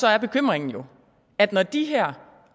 er bekymringen jo at når de her